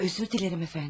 Ha, üzr diləyirəm əfəndim.